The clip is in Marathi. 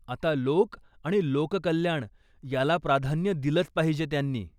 आता लोकं आणि लोककल्याण याला प्राधान्य दिलंच पाहिजे त्यांनी.